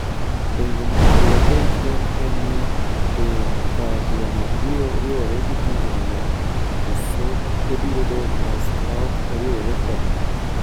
Penjo monego wapenjre en ni: Be karachuonyo biro riwore gi pinje mamoko, koso obiro dong' mos maok oriwore kodgi?